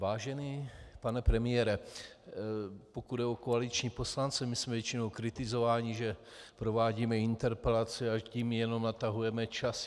Vážený pane premiére, pokud jde o koaliční poslance, my jsme většinou kritizováni, že provádíme interpelace, a tím jenom natahujeme čas.